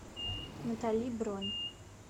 натали бронь